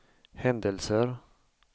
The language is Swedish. händelser